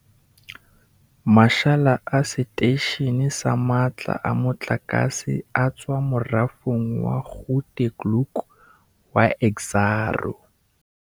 Mashala a seteishene sa matla a motlakase a tswa morafong wa Grootegeluk wa Exxaro.